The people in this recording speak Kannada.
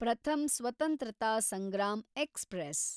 ಪ್ರಥಮ್ ಸ್ವತ್ರಂತತ ಸಂಗ್ರಾಮ್ ಎಕ್ಸ್‌ಪ್ರೆಸ್